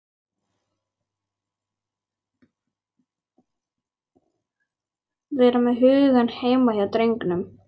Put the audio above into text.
Vera með hugann heima hjá drengnum.